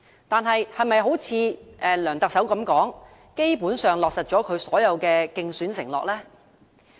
但是，是否如梁特首所說，基本上落實了他所有的競選承諾？